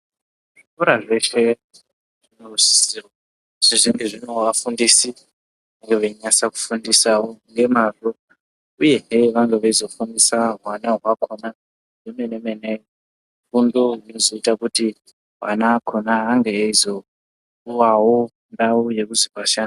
Zvikora zveshe zvinosisa kunge zvine vafundisi ivo venasa kufundisawo ngemazvo uyezve vange veizofundisawo hwana hwaakona zvemenemene.